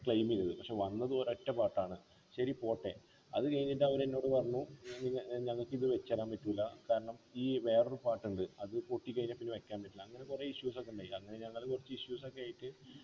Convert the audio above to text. claim ചെയ്തു പക്ഷെ വന്നത് ഒരൊറ്റ part ആണ് ശരി പോട്ടെ അത് കഴിഞ്ഞിട്ട് അവരെന്നോട് പറഞ്ഞു ഞാൻ ഇങ്ങനെ ഞങ്ങക്കിന്ന് വച്ചു തരാൻ പറ്റൂല കാരണം ഈ വേറൊരു part ണ്ട് അത് പൊട്ടിക്കഴിഞ്ഞാ പിന്നെ വെക്കാൻ പറ്റൂല അങ്ങനെ കൊറ issues ഒക്കെ ഉണ്ടായി അങ്ങനെ ഞങ്ങള് കുറച്ച് issues ഒക്കെ ആയിറ്റ്